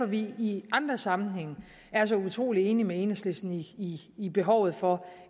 vi i andre sammenhænge er så utrolig enige med enhedslisten i i behovet for